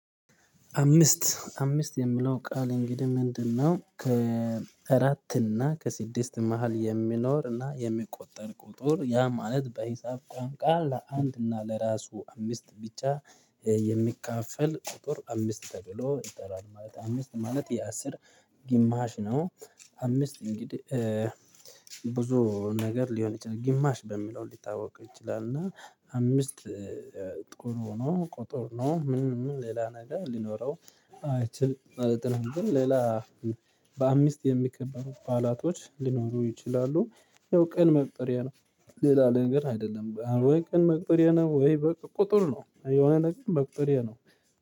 አምስት አምስት የሚለው ቃል እንግዲህ ምንድነው? ከአራት እና ከስድስት መሃል የሚኖር እና የሚቆጠር ቁጥር ያ ማለት በሂሳብ ቋንቋ ለአንድ እና ለራሱ አምስት ብቻ የሚካፈል ቁጥር አምስት ተብሎ ይጠራል ማለት አምስት ማለት የአስር ግማሽ ነው። አምስት እንግዲህ ብዙ ነገር ሊሆን ይችላል ግማሽ በሚለው ሊታወቅ ይችላል እና አምስት ጥሩ ነው ቁጥር ነው ምን ምን ሌላ ነገር ሊኖረው አይችል ማለት ነው። ግን ሌላ በአምስት የሚከበሩ ባላቶች ሊኖሩ ይችላሉ ያው ቀን መቁጠሪያ ነው። ሌላ ነገር አይደለም ወይ ቀን መቁጠሪያ ነው ወይ በቃ ቁጥር ነው? የሆነ ነገር መቁጥሪያ ነው